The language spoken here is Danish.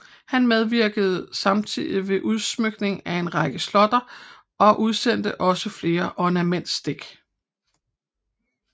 Han medvirkede samtidig ved udsmykningen af en række slotte og udsendte også flere ornamentstik